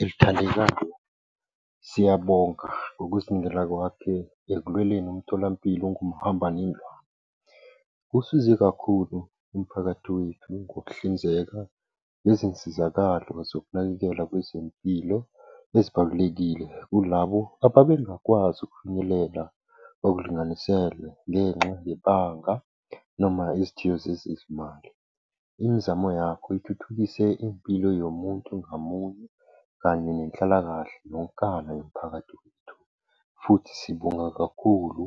elithandekayo. Siyabonga ngokuzinikela kwakhe ekulweleni umtholampilo ongumhamba nendlwane. Kusize kakhulu umphakathi wethu ngokuhlinzeka ngezinsizakalo zokunakekela kwezempilo ezibalulekile kulabo ababengakwazi ukufinyelela okulinganiselwe ngenxa yebanga noma izithiyo zezezimali. Imizamo yakho ithuthukise impilo yomuntu ngamunye kanye nenhlalakahle yonkana yomphakathi wethu. Futhi sibonga kakhulu